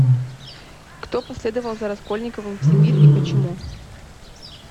кто последовал за раскольниковым в сибирь и почему